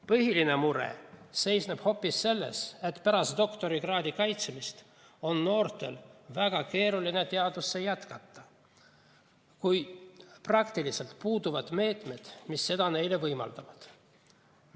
Põhiline mure seisneb hoopis selles, et pärast doktorikraadi kaitsmist on noortel väga keeruline teaduses jätkata, kui praktiliselt puuduvad meetmed, mis seda neile võimaldavad.